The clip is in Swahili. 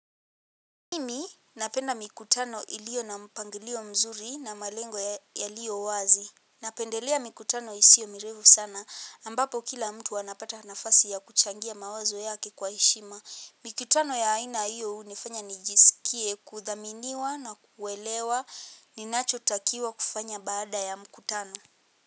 Mimi napenda mikutano iliyo na mpangilio mzuri na malengo ya liyo wazi. Napendelea mikutano isio mirefu sana ambapo kila mtu anapata nafasi ya kuchangia mawazo yake kwa heshima. Mikutano ya haina hiyo unifanya nijisikie kuthaminiwa na kuwelewa ninacho takiwa kufanya baada ya mikutano.